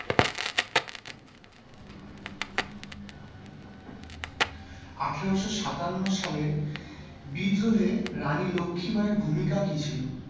আঠারোশো সাতান্ন সালের বিদ্রোহে রানী লক্ষীবাঈ এর ভূমিকা কি ছিল?